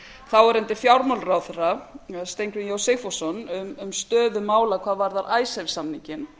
þáverandi fjármálaráðherra steingrím j sigfússon um stöðu mála hvað varðar icesave samninginn